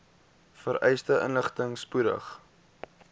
vereiste inligting spoedig